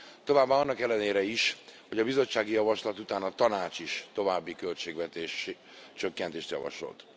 Továbbá annak ellenére is, hogy a bizottsági javaslat után a Tanács is további költségvetéscsökkentést javasolt.